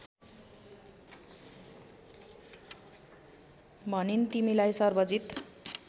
भनिन् तिमीलाई सर्वजित